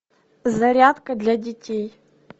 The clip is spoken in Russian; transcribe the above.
зарядка для детей